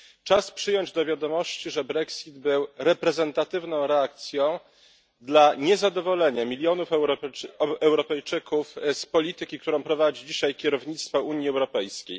Czas przyjąć do wiadomości, że Brexit był reprezentatywną reakcją dla niezadowolenia milionów Europejczyków z polityki, którą prowadzi dzisiaj kierownictwo Unii Europejskiej.